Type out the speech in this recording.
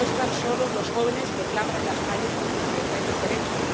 No están solos los jóvenes que claman en las calles por su libertad y sus derechos.